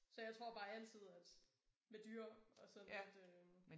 Så jeg tror bare altid at med dyr og sådan lidt øh